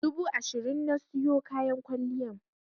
Dubu ashirin na siyo kayan kwalliyan.